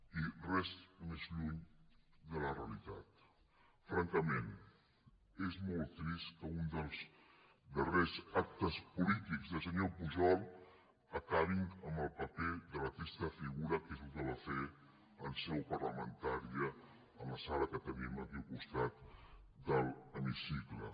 i res més lluny de la realitat francament és molt trist que un dels darrers actes polítics del senyor pujol acabi amb el paper de la trista figura que és el que va fer en seu parlamentària a la sala que tenim aquí al costat de l’hemicicle